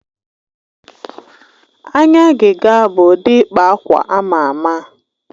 Anya agịga bụ ụdị ịkpa akwa ama ama.